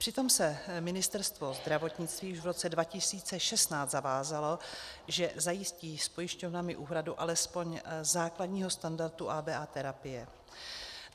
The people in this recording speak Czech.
Přitom se Ministerstvo zdravotnictví už v roce 2016 zavázalo, že zajistí s pojišťovnami úhradu alespoň základního standardu ABA terapie.